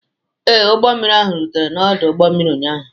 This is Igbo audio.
Ee, ụgbọ mmiri ahụ rutere n'ọdụ ụgbọ mmiri ụnyaahụ.